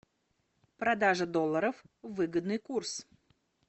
продажа долларов выгодный курс